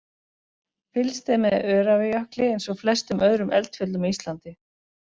Fylgst er með Öræfajökli eins og flestum öðrum eldfjöllum á Íslandi.